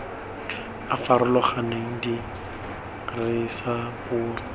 a a farologaneng dirisa puo